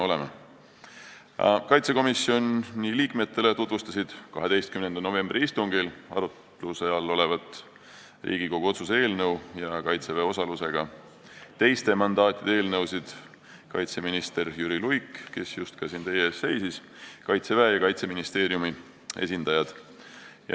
Riigikaitsekomisjoni liikmetele tutvustasid 12. novembri istungil arutuse all olevat Riigikogu otsuse eelnõu ja Kaitseväe osalusega teiste mandaatide eelnõusid kaitseminister Jüri Luik, kes just siin teie ees seisis, Kaitseväe ja Kaitseministeeriumi esindajad.